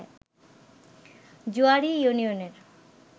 জোয়াড়ি ইউনিয়নের